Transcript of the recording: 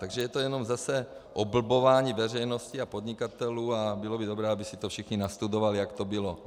Takže je to jenom zase oblbování veřejnosti a podnikatelů a bylo by dobré, aby si to všichni nastudovali, jak to bylo.